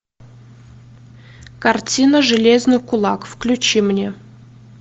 картина железный кулак включи мне